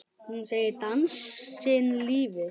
Hún segir dansinn lífið.